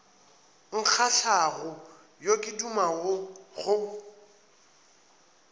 nkgahlago yo ke dumago go